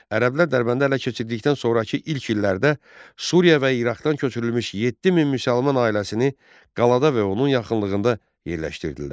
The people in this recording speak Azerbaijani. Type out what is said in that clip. Ərəblər Dərbəndi ələ keçirdikdən sonrakı ilk illərdə Suriya və İraqdan köçürülmüş 7000 müsəlman ailəsini qalada və onun yaxınlığında yerləşdirdilər.